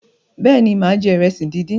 béèni má je iresi dín dín.